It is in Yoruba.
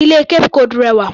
Ilé Cape cod rẹwà.